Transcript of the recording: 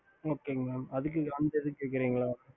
ஹம்